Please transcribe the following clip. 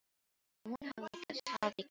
Og hún hafði það í gegn.